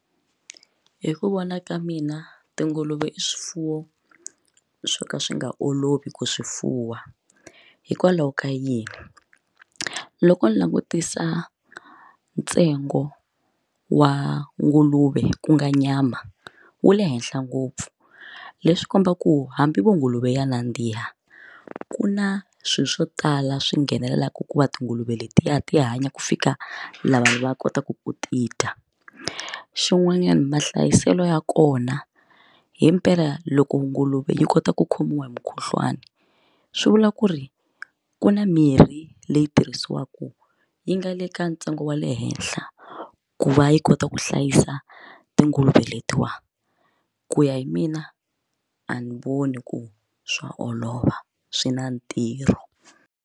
Hi ku vona ka mina tinguluve i swifuwo swo ka swi nga olovi ku swi fuwa hikwalaho ka yini, loko ni langutisa ntsengo wa nguluve ku nga nyama wu le henhla ngopfu leswi kombaka ku hambi vo nguluve ya nandziha ku na swilo swo tala swi nghenelelaka ku va tinguluve letiya ti hanya ku fika laha vanhu va kotaka ku ti dya xin'wanyana mahlayiselo ya kona himpela loko nguluve yi kota ku khomiwa hi mukhuhlwani swi vula ku ri ku na mirhi leyi tirhisiwaka yi nga le ka ntsengo wa le henhla ku va yi kota ku hlayisa tinguluve letiwa ku ya hi mina a ni voni ku swa olova swi na ntirho.